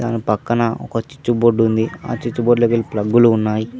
పక్కన ఒక చుచుబోర్డ్ ఉంది ఆ చుచుబోర్డ్లోకెళ్లి కి ఫ్లగ్గులు ఉన్నాయి.